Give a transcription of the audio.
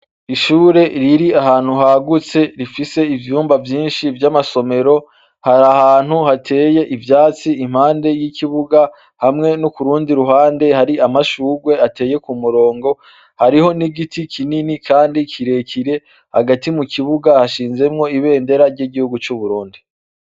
Ishure riri ahantu hagutse rifise ivyumba vyinshi vy'amasomero; har'ahantu hateye ivyatsi, impande y'ikibuga hamwe no k'urundi ruhande hari amashugwe ateye ku murongo, hariho n'igiti kinini kandi kirekire hagati mu kibuga hashinzemwo ibendera ry'igihugu c'uburundi.